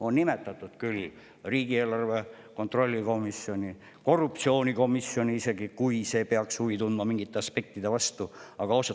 On nimetatud küll riigieelarve kontrolli erikomisjoni, korruptsioonikomisjoni isegi, kui see peaks mingite aspektide vastu huvi tundma.